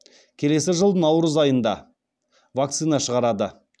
келесі жылы наурыз айында вакцина шығарады